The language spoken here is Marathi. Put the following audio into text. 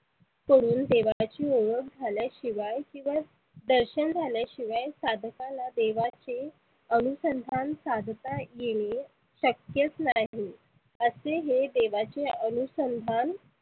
पुढील देवाची ओळख झाल्याशिवाय किंवा दर्शन झाल्या शिवाय साधकाला देवाची अंसंधान साधता येणे शक्यच नाही. असे हे देवाचे अनुसंधान